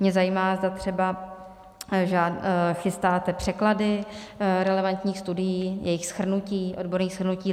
Mě zajímá, zda třeba chystáte překlady relevantních studií, jejich shrnutí, odborných shrnutí.